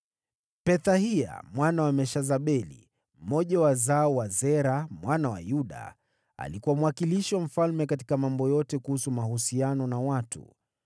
Pethahia mwana wa Meshezabeli, mmoja wa wazao wa Zera mwana wa Yuda, alikuwa mwakilishi wa mfalme katika mambo yote kuhusu mahusiano na watu.